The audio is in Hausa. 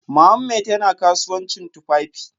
Mohammed yana kasuwancin tufafi